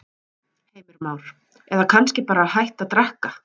Heimir Már: Eða kannski bara hætta að drekka?